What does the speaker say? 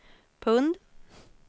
pund